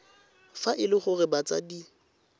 fa e le gore batsadi